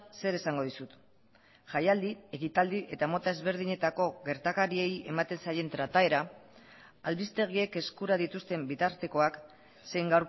zer esango dizut jaialdi ekitaldi eta mota ezberdinetako gertakariei ematen zaien trataera albistegiek eskura dituzten bitartekoak zein